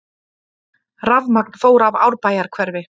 Rafmagn fór af Árbæjarhverfi